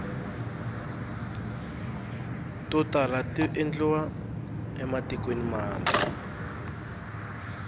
to tala tiendliwa ematikweni mambe